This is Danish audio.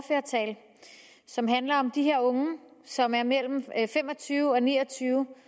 som handler om de her unge som er mellem fem og tyve og ni og tyve